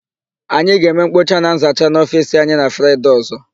Anyị ga-eme nkpocha na nzacha n'ofiisi anyị na Fraịde ọ̀zọ́.